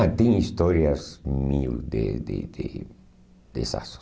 Ah, tem histórias mil de de de desastres.